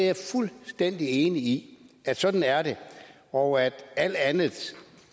er fuldstændig enig i at sådan er det og at alt andet